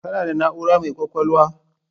Kana da na'ura mai kwakwalwa